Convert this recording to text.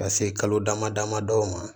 Ka se kalo dama damadɔ ma